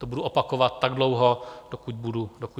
To budu opakovat tak dlouho, dokud budu moci.